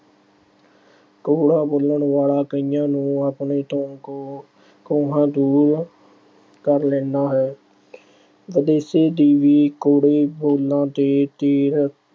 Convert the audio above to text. ਕੌੜਾ ਬੋਲਣ ਵਾਲਾ ਕਈਆਂ ਨੂੰ ਆਪਣੇ ਤੋਂ ਕੋ ਅਹ ਕੋਹਾਂ ਦੂਰ ਕਰ ਲੈਂਦਾ ਹੈ। ਦੀ ਵੀ ਕੌੜੇ ਬੋਲਾਂ ਤੇ ਤੀਰ